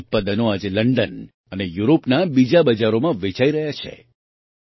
તેમનાં ઉત્પાદનો આજે લંડન અને યુરોપના બીજાં બજારોમાં વેચાઈ રહ્યાં છે